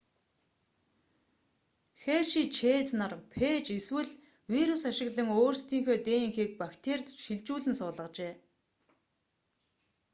херши чэйз нар фээж эсвэл вирус ашиглан өөрсдийнхөө днх-г бактерид шилжүүлэн суулгажээ